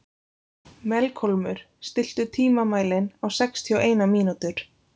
Melkólmur, stilltu tímamælinn á sextíu og eina mínútur.